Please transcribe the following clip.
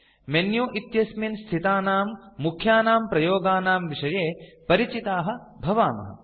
menu इत्यस्मिन् स्थितानां मुख्यानां प्रयोगानां विषये परिचिताः भवामः